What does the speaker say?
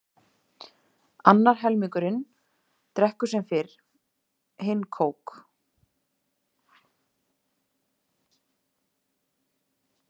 Annar helmingurinn drekkur sem fyrr bjór, hinn kók.